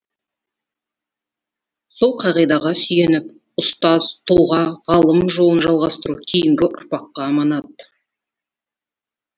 сол қағидаға сүйеніп ұстаз тұлға ғалым жолын жалғастыру кейінгі ұрпаққа аманат